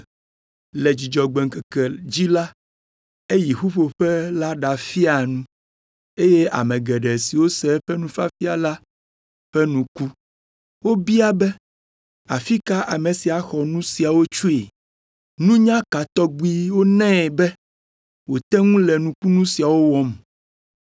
Le Dzudzɔgbe ŋkeke dzi la, eyi ƒuƒoƒe la ɖafia nu, eye ame geɖe siwo se eƒe nufiafia la ƒe nu ku. Wobia be, “Afi ka ame sia xɔ nu siawo tsoe? Nunya ka tɔgbi wonae be wòte ŋu le nukunu siawo wɔm!